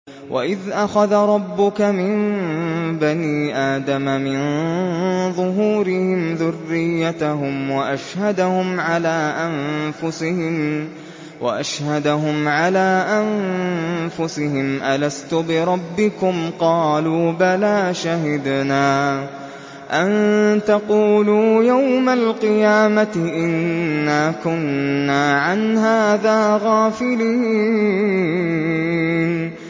وَإِذْ أَخَذَ رَبُّكَ مِن بَنِي آدَمَ مِن ظُهُورِهِمْ ذُرِّيَّتَهُمْ وَأَشْهَدَهُمْ عَلَىٰ أَنفُسِهِمْ أَلَسْتُ بِرَبِّكُمْ ۖ قَالُوا بَلَىٰ ۛ شَهِدْنَا ۛ أَن تَقُولُوا يَوْمَ الْقِيَامَةِ إِنَّا كُنَّا عَنْ هَٰذَا غَافِلِينَ